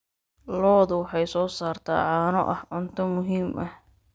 Lo'du waxay soo saartaa caano ah cunto muhiim ah.